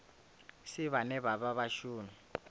si vhane vha vha vhashumi